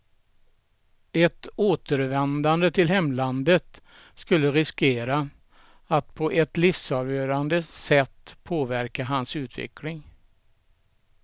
Ett återvändande till hemlandet skulle riskera att på ett livsavgörande sätt påverka hans utveckling.